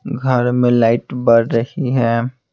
घर में लाइट बर रही है।